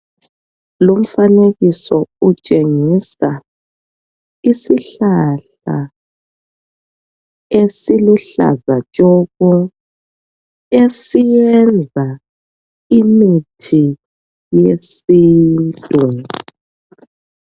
Lumfanekiso utshengisa isihlahla esiluhlaza tshoko esiyenza imithi yesintu.